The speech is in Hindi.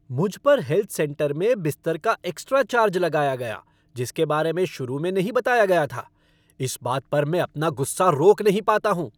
मुझ पर हेल्थ सेंटर में बिस्तर का एक्स्ट्रा चार्ज लगाया गया जिसके बारे में शुरू में नहीं बताया गया था। इस बात पर मैं अपना गुस्सा रोक नहीं पाता हूँ।